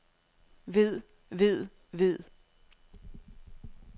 ved ved ved